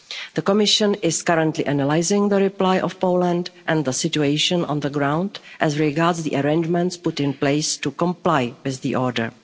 The Commission is currently analysing the reply from Poland and the situation on the ground as regards the arrangements put in place to comply with the order.